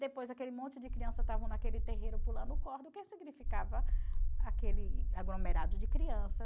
Depois, aquele monte de criança estavam naquele terreiro pulando corda, o que significava aquele aglomerado de crianças.